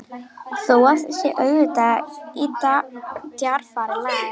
Þó að það sé auðvitað í djarfara lagi.